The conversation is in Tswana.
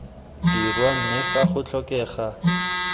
dirwa mme fa go tlhokega